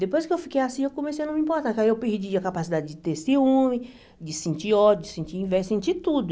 Depois que eu fiquei assim, eu comecei a não me importar, porque aí eu perdi a capacidade de ter ciúme, de sentir ódio, de sentir inveja, de sentir tudo.